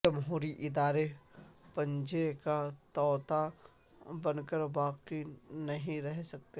جمہوری ادارے پنجرے کا طوطا بن کر باقی نہیں رہ سکتے